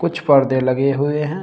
कुछ परदे लगे हुए हैं।